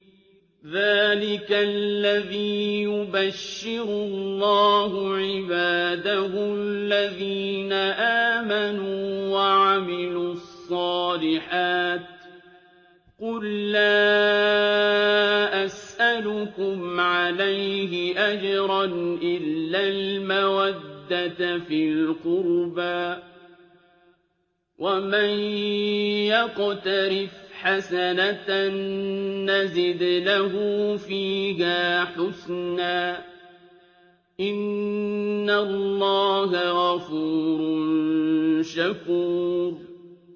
ذَٰلِكَ الَّذِي يُبَشِّرُ اللَّهُ عِبَادَهُ الَّذِينَ آمَنُوا وَعَمِلُوا الصَّالِحَاتِ ۗ قُل لَّا أَسْأَلُكُمْ عَلَيْهِ أَجْرًا إِلَّا الْمَوَدَّةَ فِي الْقُرْبَىٰ ۗ وَمَن يَقْتَرِفْ حَسَنَةً نَّزِدْ لَهُ فِيهَا حُسْنًا ۚ إِنَّ اللَّهَ غَفُورٌ شَكُورٌ